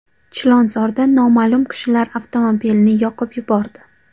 Chilonzorda noma’lum kishilar avtomobilni yoqib yubordi .